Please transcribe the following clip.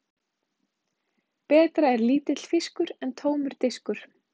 Betra er lítill fiskur en tómur diskur.